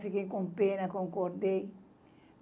Fiquei com pena, concordei.